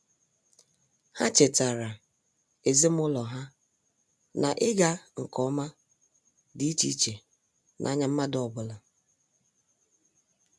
Ha chetara ezimụlọ ha na-ịga nke ọma dị iche iche n'anya mmadụ ọbụla.